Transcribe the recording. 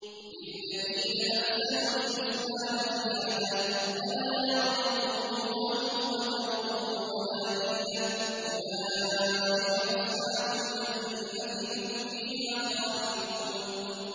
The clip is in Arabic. ۞ لِّلَّذِينَ أَحْسَنُوا الْحُسْنَىٰ وَزِيَادَةٌ ۖ وَلَا يَرْهَقُ وُجُوهَهُمْ قَتَرٌ وَلَا ذِلَّةٌ ۚ أُولَٰئِكَ أَصْحَابُ الْجَنَّةِ ۖ هُمْ فِيهَا خَالِدُونَ